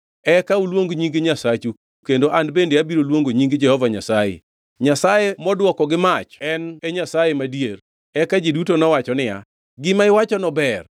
Eka uluong nying nyasachu kendo an bende abiro luongo nying Jehova Nyasaye. Nyasaye modwoko gi mach en e Nyasaye madier.” Eka ji duto nowacho niya, “Gima iwachono ber.”